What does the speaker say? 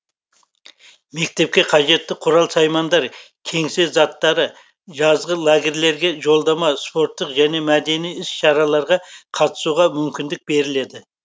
мектепке қажетті құрал саймандар кеңсе заттары жазғы лагерьлерге жолдама спорттық және мәдени іс шараларға қатысуға мүмкіндік беріледі